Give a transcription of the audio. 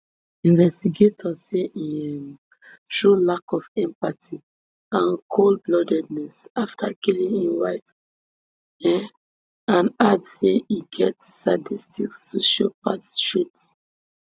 investigator say im um show lack of empathy and coldbloodedness afta killing im wife um and add say e get sadisticsociopathic traits